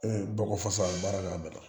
bɔgɔ fasa baara k'a bɛɛ dɔn